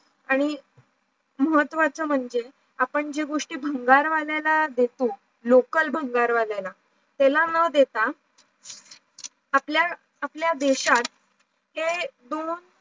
आणि महत्वाचं म्हणजे आपण जे गोष्टी बंगारवाल्याला देतो लोकल भंगारवाल्याला त्याला न देता आपल्या, आपल्या देशात ते भरून